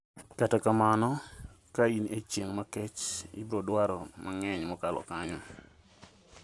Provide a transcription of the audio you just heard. Kata kamano ka in echieng' makech ibrodwaro mang'eny mokalo kanyo.